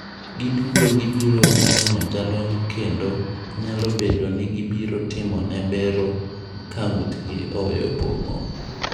"Giduto gibiro neno jalony kendo nyalo bedo ni gibiro timone bero ka ng’utgi oweyo pong’o."